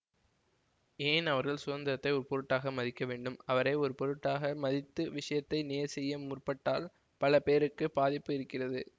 ஏன் அவர்கள் சுந்தரத்தை ஒரு பொருட்டாக மதிக்க வேண்டும் அவரை ஒரு பொருட்டாக மதித்து விஷயத்தை நேர் செய்ய முற்பட்டால் பல பேருக்குப் பாதிப்பு இருக்கிறது